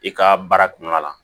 I ka baara kɔnɔna la